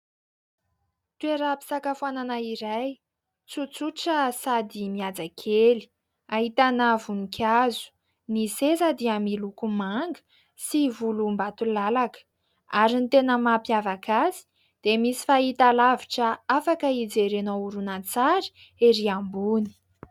Toeram-pisakafoanana iray, tsotsotra sady mihaja kely. Ahitana voninkazo ; ny seza dia miloko manga sy volombatolalaka ary ny tena mampiavaka azy dia misy fahitalavitra afaka hijerena horonan-tsary ery ambony.